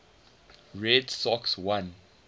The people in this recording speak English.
red sox won